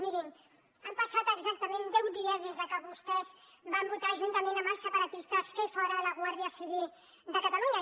mirin han passat exactament deu dies des que vostès van votar juntament amb els separatistes fer fora la guàrdia civil de catalunya